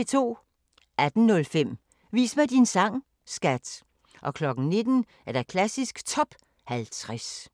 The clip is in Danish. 18:05: Vis mig din sang, skat! 19:00: Klassisk Top 50